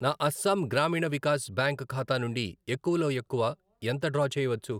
నా అస్సాం గ్రామీణ వికాస్ బ్యాంక్ ఖాతా నుండి ఎక్కువ లో ఎక్కువ ఎంత డ్రా చేయవచ్చు?